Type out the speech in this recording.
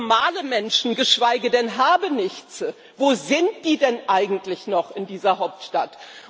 Normale Menschen, geschweige denn Habenichtse, wo sind die denn eigentlich noch in dieser Hauptstadt?